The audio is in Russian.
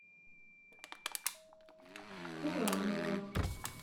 куранова